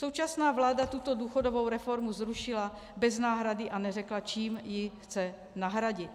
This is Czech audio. Současná vláda tuto důchodovou reformu zrušila bez náhrady a neřekla, čím ji chce nahradit.